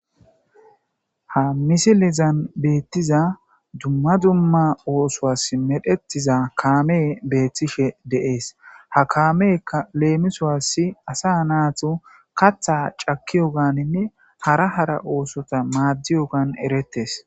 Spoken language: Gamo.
Ha messilezan bettiza dumma dumma ossowaas medhdhetiza kaamey beettishe de'essi ha kaameykka lemissowaasi asa nattu kaththa caakiyoganinne haara haara ossota maadiyoggan eerrettes.